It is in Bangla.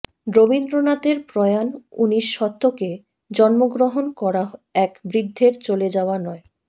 রবীন্দ্রনাথের প্রয়াণ উনিশ শতকে জন্মগ্রহণ করা এক বৃদ্ধের চলে যাওয়া নয়